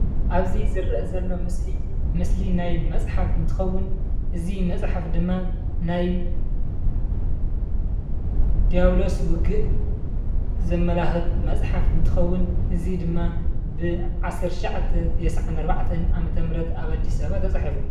አብ እዚ ዝርአ ዘሎ ምስሊ ምስሊ ናይ መፅሓፍ እንትኸውን፣ እዚ መፃሓፍ ድማ ናይ ዲያብሎስ ውግእ ዘማለኽት መፅሓፍ እንትኸውን እዚ ድማ ብ1994 ዓ/ም ኣብ ኣዲስ ኣበባ ተፃሒፉ።